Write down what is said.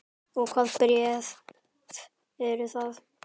Og hvaða bréf eru það?